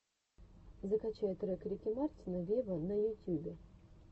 закачай трек рики мартина вево на ютюбе